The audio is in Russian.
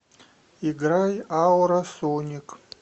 играй ауросоник